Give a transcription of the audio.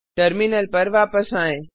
terminal पर वापस आएँ